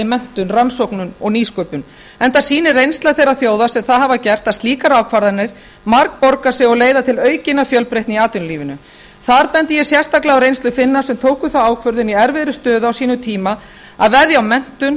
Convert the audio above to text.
menntun rannsóknum og nýsköpun enda sýnir reynsla þeirra þjóða sem það hafa gert að slíkar ákvarðanir margborga sig og leiða til aukinnar fjölbreytni í atvinnulífinu þar bendi ég sérstaklega á reynslu finna sem tóku þá ákvörðun í erfiðri stöðu á sínum tíma að veðja á menntun